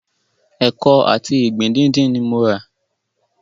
Ẹkọ àti ìgbín díndín ni mo rà.